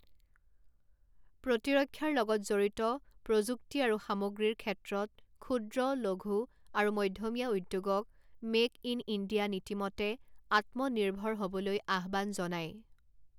প্ৰতিৰক্ষাৰ লগত জড়িত প্ৰযুক্তি আৰু সামগ্ৰীৰ ক্ষেত্ৰত ক্ষূদ্ৰ, লঘূ আৰু মধ্যমীয়া উদ্যোগক মে ক ইন ইণ্ডিয়া নীতিমতে আত্মনিৰ্ভৰ হ'বলৈ আহ্বান জনায়।